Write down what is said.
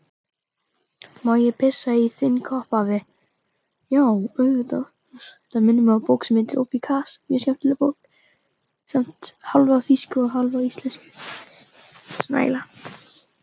Má ég pissa í þinn kopp, afi?